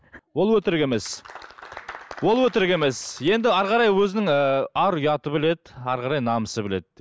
ол өтірік емес ол өтірік емес енді әрі қарай өзінің ыыы ар ұяты біледі әрі қарай намысы біледі